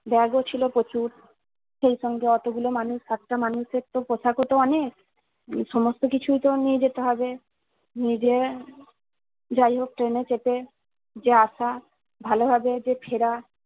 Bag ও ছিল প্রচুর। সেই সঙ্গে অতগুলো মানুষ সাতটা মানুষ এর তো পোশাকও তো অনেক। সমস্ত কিছুই তো নিয়ে যেতে হবে। নিয়ে যেয়ে যাই হোক ট্রেনে চেপে যে আসা ভালোভাবে যে ফেরা